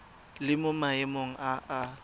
le mo maemong a a